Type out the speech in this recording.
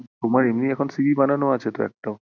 তোমার এমনি এখন CV বানানো আছে তো একটাও